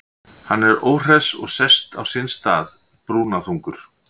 Hann er óhress og sest á sinn stað, brúnaþungur.